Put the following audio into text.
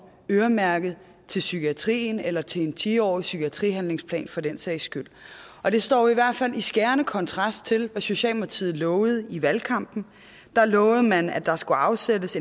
øremærket til psykiatrien eller til en ti årig psykiatrihandlingsplan for den sags skyld det står i hvert fald i skærende kontrast til hvad socialdemokratiet lovede i valgkampen der lovede man at der skulle afsættes